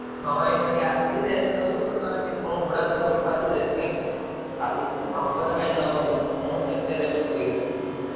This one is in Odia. ହଁ ଏଇଠି ଆସି rest ନଉଚି ଆଉ ଗୋଡ ହାତ ବଥା ହଉଛି ଦେଖେଇନ କଣ କେତେ rest କରିବି।